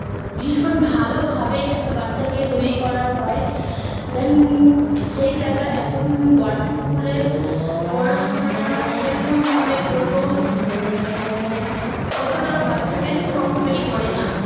ভীষণ ভালোভাবে একটা বাচ্ছাকে তৈরী করা হয় Then সেই জায়গায় এখন Government School এর পড়াশোনাটা সেরকম ভাবে বলবো উম অতটাও বাচ্ছাকে Strong তৈরী করে না